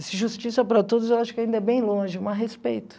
Esse justiça para todos eu acho que ainda é bem longe, mas respeito.